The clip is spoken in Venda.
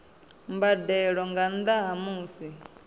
mbadelo nga nnda ha musi